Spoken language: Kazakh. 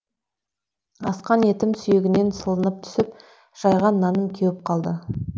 асқан етім сүйегінен сылынып түсіп жайған наным кеуіп қалды